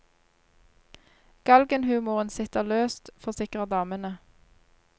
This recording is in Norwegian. Galgenhumoren sitter løst, forsikrer damene.